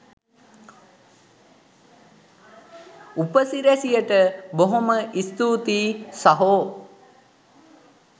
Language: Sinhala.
උපසිරැසියට බොහොම ස්තූතියි සහෝ